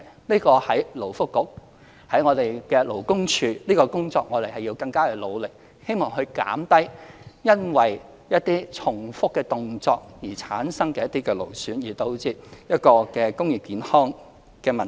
勞工及福利局、勞工處在這方面的工作會更加努力，希望減低因重複動作而產生勞損的職業健康問題。